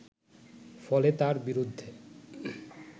ফলে তার বিরুদ্ধে